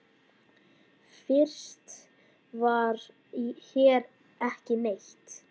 Fyrst var hér ekki neitt.